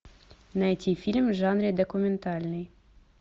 найти фильм в жанре документальный